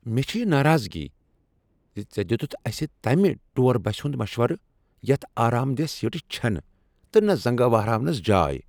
مےٚ چھ یہ ناراضگی ز ژےٚ دیتتھ اسہ تمہ ٹوٗر بسہ ہنٛد مشورٕ یتھ آرامدیہہ سیٖٹہٕ چھنہٕ تہٕ نہٕ زنگہٕ وہراونس جاے۔